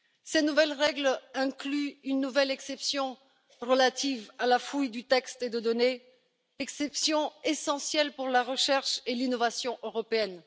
Ces nouvelles règles incluent une nouvelle exception relative à la fouille de textes et de données, exception essentielle pour la recherche et l'innovation européenne.